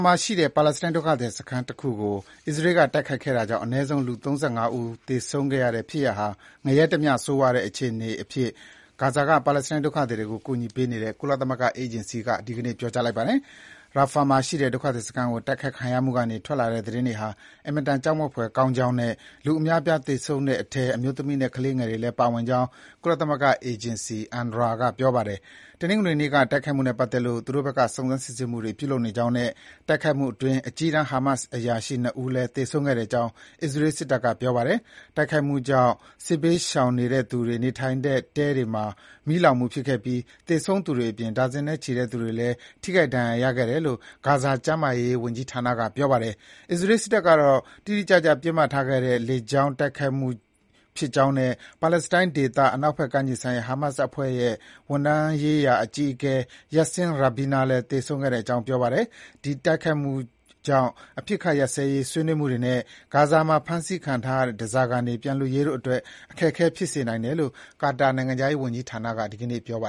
မှာရှိတဲ့ ပါလက်စတိုင်းဒုက္ခသည်စခန်းတခုကို အစ္စရေးက တိုက်ခိုက်ခဲ့တာကြောင့် အနည်းဆုံး လူ ၃၅ ဦး သေဆုံးခဲ့တဲ့ ဖြစ်ရပ်ဟာ ငရဲတမျှ ဆိုးရွားတဲ့ အခြေအနေအဖြစ် ဂါဇာက ပါလက်စတိုင်းဒုက္ခသည်တွေကို ကူညီပေးနေတဲ့ ကုလသမဂ္ဂအေဂျင်စီက ဒီကနေ့ ပြောကြားလိုက်ပါတယ်။ Rafah မှာရှိတဲ့ ဒုက္ခသည်စခန်း တိုက်ခိုက်ခံရမှုကနေ ထွက်လာတဲ့သတင်းတွေဟာ အင်မတန် ကြောက်မက်ဖွယ်ကောင်းကြောင်းနဲ့ လူအများအပြား သေဆုံးသွားတဲ့အထဲ အမျိုးသမီးနဲ့ ကလေးငယ်တွေလည်း ပါဝင်ကြောင်း ကုလသမဂ္ဂအေဂျင်စီ UNRWA က ပြောပါတယ်။ တနင်္ဂနွေနေ့က တိုက်ခိုက်မှုနဲ့ပတ်သက်လို့ သူတို့ဘက်က စုံစမ်းစစ်ဆေးမှုတွေ ပြုလုပ်နေကြောင်းနဲ့ တိုက်ခိုက်မှုအတွင်း အကြီးတန်း ဟာမတ်စ်အရာရှိ ၂ ဦးလည်း သေဆုံးခဲ့ကြောင်း အစ္စရေးစစ်တပ်က ပြောပါတယ်။ တိုက်ခိုက်မှုကြောင့် စစ်ဘေးရှောင်တဲ့သူတွေ နေထိုင်ရာတဲတွေမှာ မီးလောင်မှုဖြစ်ခဲ့ပြီး၊ သေဆုံးသူတွေအပြင် ဒါဇင်နဲ့ချီတဲ့သူတွေလည်း ထိခိုက် ဒဏ်ရာရခဲ့ကြတယ်လို့ ဂါဇာ ကျန်းမာရေးဝန်ကြီးဌာနက ပြောပါတယ်။ အစ္စရေးစစ်တပ်ကတော့ တိတိကျကျ ပစ်မှတ်ထားခဲ့တဲ့ လေကြောင်းတိုက်ခိုက်မှုဖြစ်ကြောင်းနဲ့ ပါလက်စတိုင်းဒေသ၊ အနောက်ဘက်ကမ်းခြေဆိုင်ရာ ဟာမတ်စ်အဖွဲ့ရဲ့ ဝန်ထမ်းရေးရာ အကြီးအကဲ Yassin Rabina လည်း သေဆုံးခဲ့ကြောင်း ပြောပါတယ်။ ဒီတိုက်ခိုက်မှုကြောင့် အပစ်ရပ်ရေး ဆွေးနွေးမှုတွေနဲ့ ဂါဇာမှာဖမ်းခံထားရတဲ့ ဓားစာခံတွေ ပြန်လွှတ်ရေးတို့အတွက် အခက်အခဲဖြစ်စေနိုင်တယ်လို့ ကာတာနိုင်ငံခြားရေးဝန်ကြီးဌာနက ဒီကနေ့ ပြောပါ